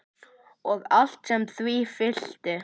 Og allt sem því fylgdi.